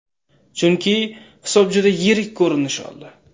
Chunki hisob juda yirik ko‘rinish oldi.